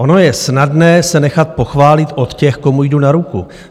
Ono je snadné se nechat pochválit od těch, komu jdu na ruku.